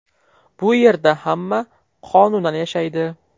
Bu yerda hamma qonunan yashaydi.